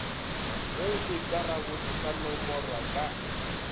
ge dikarabodi sa nomorwa ka